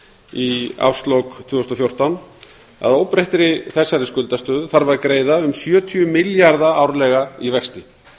í ársloka tvö þúsund og fjórtán þarf að greiða um sjötíu milljarða árlega í vexti